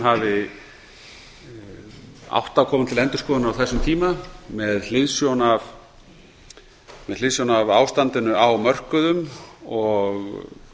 hafi átt að koma til endurskoðunar á þessum tíma með hliðsjón af ástandinu á mörkuðum og